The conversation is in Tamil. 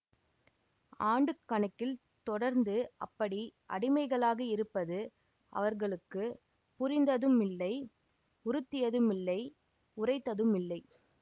ஆண்டுக்கணக்கில் தொடர்ந்து அப்படி அடிமைகளாக இருப்பது அவர்களுக்கு புரிந்ததுமில்லை உறுத்தியதுமில்லை உறைத்ததுமில்லை